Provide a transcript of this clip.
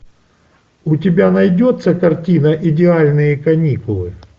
у тебя найдется картина идеальные каникулы